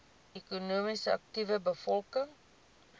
ekonomies aktiewe bevolking